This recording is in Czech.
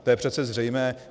To je přece zřejmé.